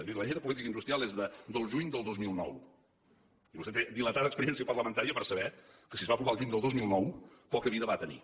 miri la llei de política industrial és del juny del dos mil nou i vostè té dilatada experiència parlamentària per saber que si es va aprovar el juny del dos mil nou poca vida va tenir